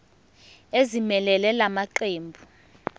ezimelele la maqembu